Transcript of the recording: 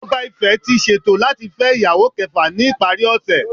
Oba Ife ti ṣeto lati fẹ iyawo kẹfa ni ipari ose.